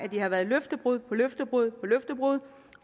har været løftebrud på løftebrud